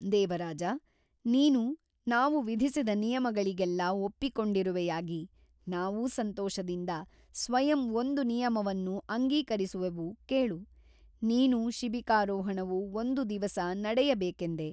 ದೇವರಾಜ ನೀನು ನಾವು ವಿಧಿಸಿದ ನಿಯಮಗಳಿಗೆಲ್ಲ ಒಪ್ಪಿಕೊಂಡಿರುವೆಯಾಗಿ ನಾವೂ ಸಂತೋಷದಿಂದ ಸ್ವಯಂ ಒಂದು ನಿಯಮವನ್ನು ಅಂಗೀಕರಿಸುವೆವು ಕೇಳು ನೀನು ಶಿಬಿಕಾರೋಹಣವು ಒಂದು ದಿವಸ ನಡೆಯಬೇಕೆಂದೆ.